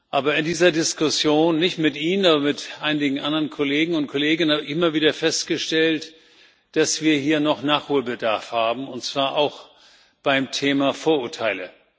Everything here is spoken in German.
Aber in dieser Diskussion nicht mit Ihnen, aber mit einigen anderen Kollegen und Kolleginnen habe ich immer wieder festgestellt, dass wir hier noch Nachholbedarf haben, und zwar auch beim Thema Vorurteile.